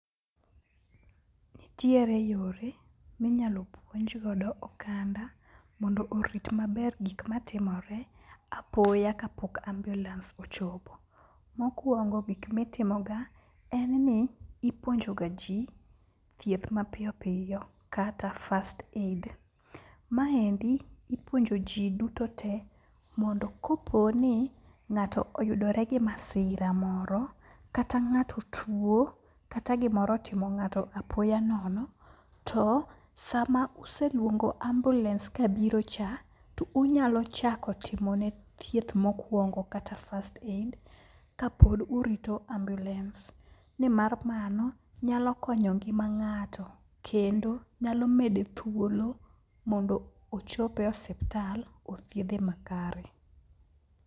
Nitiere yore minyalo puonj godo oganda mondo orit maber gik matimore apoya kapok ambulans ochopo. Mokwongo gik mitimoga en ni, ipuonjo ga ji thieth mapiyo piyo kata first aid. Ma endi ipuonjo ji dutote mondo kopo ni ng'ato oyudore gi masira moro, kata ng'ato tuwo ,kata gimoro otimo ng'ato apoya nono, to sama uselwongo ambulans kabiro cha, tu unyalo chako timone thieth mokwongo kata first aid kapod urito ambulance, nimar mano nyalo konyo ngima ng'ato kendo nyalo mede thuolo mondo ochop e osiptal othiedhe makare.